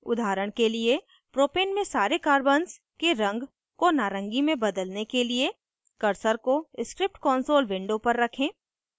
उदाहरण के लिए propane में सारे carbons के रंग को नारंगी में बदलने के लिए; cursor को script console window पर रखें